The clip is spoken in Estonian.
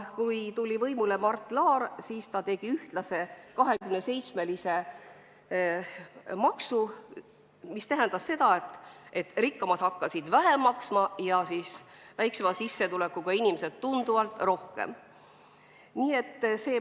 Kui tuli võimule Mart Laar, siis ta kehtestas ühtse 27%-lise maksu, mis tähendas seda, et rikkamad hakkasid vähem maksma ja väiksema sissetulekuga inimesed tunduvalt rohkem.